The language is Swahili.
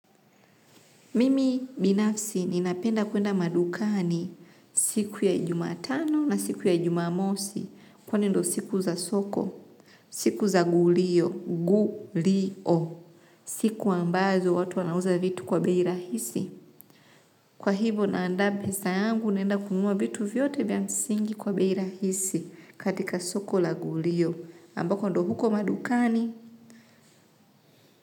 Mimi binafsi ninapenda kuenda madukani siku ya jumatano na siku ya jumamosi kwani ndio siku za soko, siku za gulio, gu-li-o, siku ambazo watu wanauza vitu kwa bei rahisi. Kwa hivo naandaa pesa yangu naenda kununua vitu vyote vya msingi kwa bei rahisi, katika soko la gulio ambako ndo huko madukani.